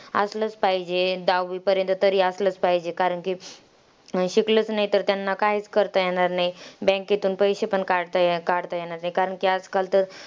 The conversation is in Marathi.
असलंच पाहिजे. दहावीपर्यंत तरी असलंच पाहिजे कारण की, शिकलंच नाही तर त्यांना काहीच करता येणार नाही. Bank तून पैसे पण काढता ये काढता येणार नाही.